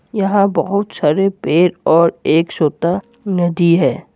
यहां बहुत सारे पेड़ और एक छोटा नदी है।